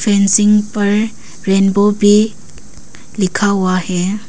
Fencing पर rainbow भी लिखा हुआ है।